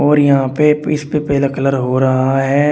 और यहां पे पीस पे पहला कलर हो रहा है।